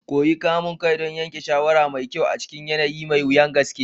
Koyi kamun kai don yanke shawara mai kyau a cikin yanayi mai wuyar gaske.